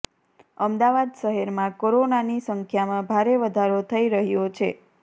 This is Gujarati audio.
અમદાવાદ શહેરમાં કોરોનાની સંખ્યામાં ભારે વધારો થઈ રહ્યો છે